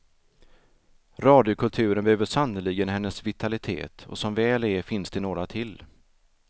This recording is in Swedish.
Radiokulturen behöver sannerligen hennes vitalitet, och som väl är finns det några till.